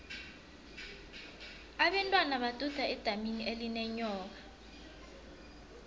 abentwana baduda edamini elinenyoka